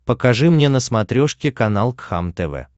покажи мне на смотрешке канал кхлм тв